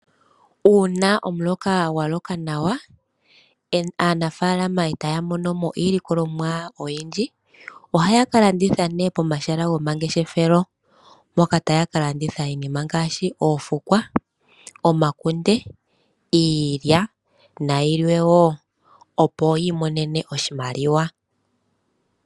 Uuna omuloka gwaloka nawa aanafalama etaya mono mo iilikolomwa oyindji ohaya ka landitha pomahala gomangeshefelo mpoka taya ka landitha iinima ngaashi oofukwa, omakunde, iilya na yimwe opo yi imonene oshimaliwa.